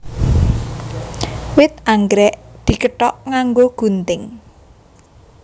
Wit anggrèk dikethok nganggo gunting